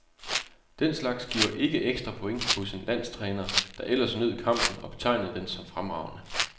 Den slags giver ikke ekstra point hos en landstræner, der ellers nød kampen og betegnede den som fremragende.